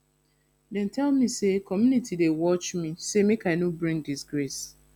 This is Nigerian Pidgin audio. dem tell me sey community dey watch me sey make i no bring disgrace